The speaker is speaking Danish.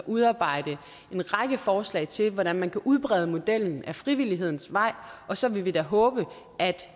udarbejde en række forslag til hvordan man kan udbrede modellen ad frivillighedens vej og så vil vi da håbe at